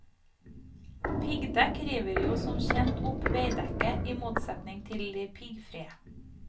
Piggdekk river jo som kjent opp veidekket, i motsetning til de piggfrie.